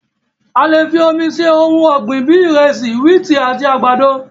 A lè fi omi se ohun ọgbin bíi ìrẹsì, wíìtì àti àgbàdo.